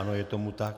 Ano, je tomu tak.